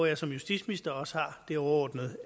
jeg som justitsminister også har det overordnede